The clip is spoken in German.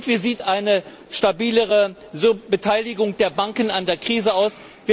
Wie sieht eine stabilere Beteiligung der Banken an der Krise aus?